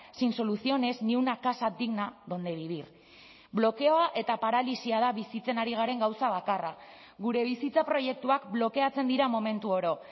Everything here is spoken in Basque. sin soluciones ni una casa digna donde vivir blokeoa eta paralisia da bizitzen ari garen gauza bakarra gure bizitza proiektuak blokeatzen dira momentu oro